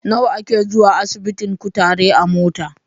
Nawa ake zuwa asibitin kutare a mota?